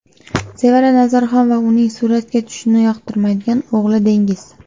Sevara Nazarxon va uning suratga tushishni yoqtirmaydigan o‘g‘li Dengiz.